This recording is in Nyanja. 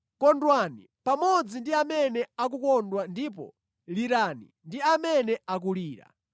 Kondwani pamodzi ndi amene akukondwa ndipo lirani ndi amene akulira.